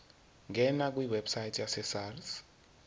ngena kwiwebsite yesars